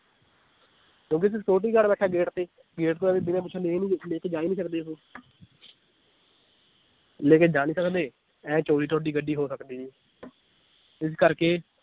ਕਿਉਂਕਿ ਇਥੇ security guard ਬੈਠਾ ਏ gate ਤੇ gate ਤੋਂ ਐਵੇ ਬਿਨਾ ਪੁਛੇ ਲੇਕੇ ਜਾ ਹੀ ਨੀ ਸਕਦੇ ਉਹ ਲੇਕੇ ਜਾ ਨੀ ਸਕਦੇ, ਇਹ ਚੋਰੀ ਤੁਹਾਡੀ ਗੱਡੀ ਹੋ ਸਕਦੀ ਨੀ ਇਸ ਕਰਕੇ